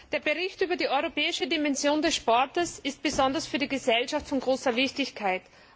Der Bericht über die europäische Dimension des Sports ist besonders für die Gesellschaft von großer Wichtigkeit.